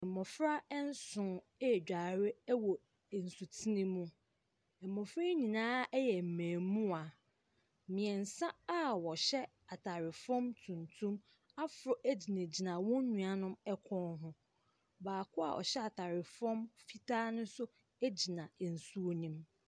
Mbɔfra ɛnsoo edware ewɔ ɛnsu tene mu. Mbɔfra yi nyinaa ɛyɛ mbemua. Miɛnsa a wɔhyɛ ataare fɔm tuntum aforo egyinagyina wɔn nua nom ɛkɔn ho. Baako a ɔhyɛ ataare fɔm fitaa no so egyina nsuo ni mu.